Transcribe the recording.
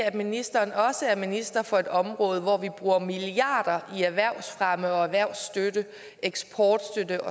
at ministeren også er minister for et område hvor vi bruger milliarder i erhvervsfremme og erhvervsstøtte eksportstøtte